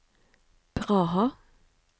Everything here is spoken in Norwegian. Praha